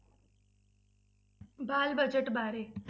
ਬਾਲ budget ਬਾਰੇ।